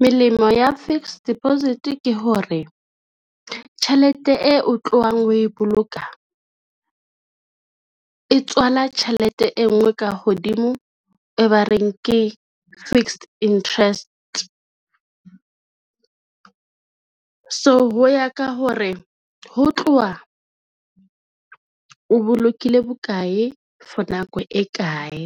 Melemo ya fixed deposit ke hore tjhelete e o tlohang ho e boloka, e tswala tjhelete e ngwe ka hodimo e ba reng ke fixed interest. So ho ya ka hore ho tloha o bolokile bokae for nako e kae,